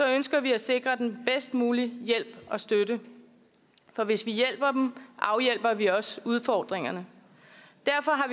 ønsker vi at sikre dem bedst mulig hjælp og støtte for hvis vi hjælper dem afhjælper vi jo også udfordringerne derfor